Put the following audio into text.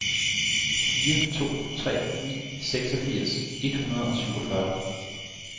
fire to tre ni seksogfirs et hundrede og syvogfyrre